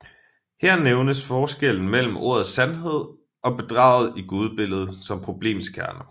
Her nævnes forskellen mellem ordets sandhed og bedraget i gudebilledet som problemets kerne